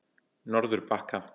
Norðurbakka